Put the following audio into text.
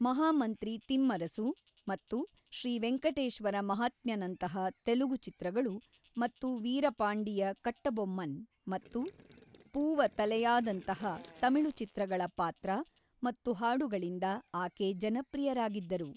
ಮಹಾಮಂತ್ರಿ ತಿಮ್ಮರಸು ಮತ್ತು ಶ್ರೀ ವೆಂಕಟೇಶ್ವರ ಮಹಾತ್ಮ್ಯನಂತಹ ತೆಲುಗು ಚಿತ್ರಗಳು ಮತ್ತು ವೀರಪಾಂಡಿಯ ಕಟ್ಟಬೊಮ್ಮನ್ ಮತ್ತು ಪೂವ ತಲೆಯಾದಂತಹ ತಮಿಳು ಚಿತ್ರಗಳ ಪಾತ್ರ ಮತ್ತು ಹಾಡುಗಳಿಂದ ಆಕೆ ಜನಪ್ರಿಯರಾಗಿದ್ದರು.